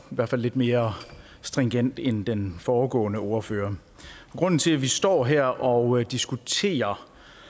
hvert fald lidt mere stringent end den foregående ordfører grunden til at vi står her og diskuterer